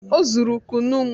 Ọ zụrụ kụnụ m